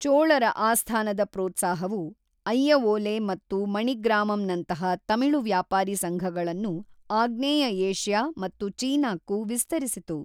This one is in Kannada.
ಚೋಳರ ಆಸ್ಥಾನದ ಪ್ರೋತ್ಸಾಹವು ಅಯ್ಯವೋಲೆ ಮತ್ತು ಮಣಿಗ್ರಾಮಂನಂತಹ ತಮಿಳು ವ್ಯಾಪಾರಿ ಸಂಘಗಳನ್ನು ಆಗ್ನೇಯ ಏಷ್ಯಾ ಮತ್ತು ಚೀನಾಕ್ಕೂ ವಿಸ್ತರಿಸಿತು.